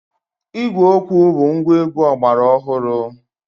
Ígwè okwu bụ ngwaegwu ọgbara ọhụrụ.